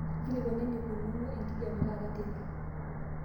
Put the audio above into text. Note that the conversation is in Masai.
nkilikuanu eneikununo enkijiape taata teipa